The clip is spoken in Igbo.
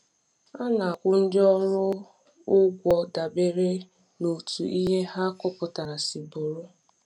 A na-akwụ ndị ọrụ ụgwọ dabere n’otú ihe ha kụpụturu si bụrụ.